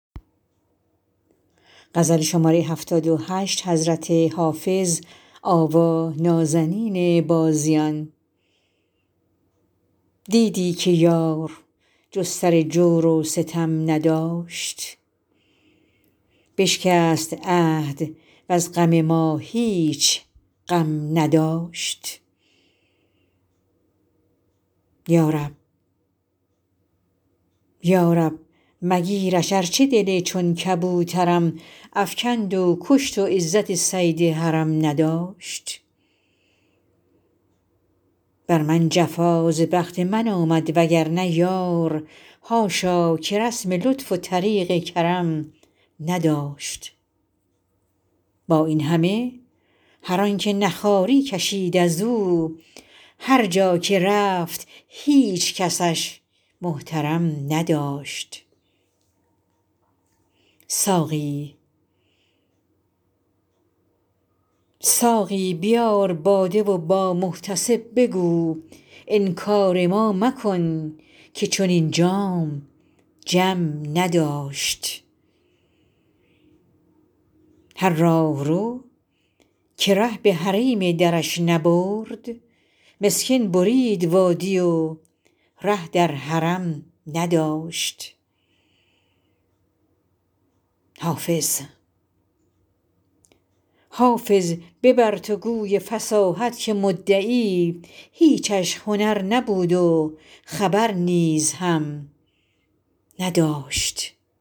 دیدی که یار جز سر جور و ستم نداشت بشکست عهد وز غم ما هیچ غم نداشت یا رب مگیرش ارچه دل چون کبوترم افکند و کشت و عزت صید حرم نداشت بر من جفا ز بخت من آمد وگرنه یار حاشا که رسم لطف و طریق کرم نداشت با این همه هر آن که نه خواری کشید از او هر جا که رفت هیچ کسش محترم نداشت ساقی بیار باده و با محتسب بگو انکار ما مکن که چنین جام جم نداشت هر راهرو که ره به حریم درش نبرد مسکین برید وادی و ره در حرم نداشت حافظ ببر تو گوی فصاحت که مدعی هیچش هنر نبود و خبر نیز هم نداشت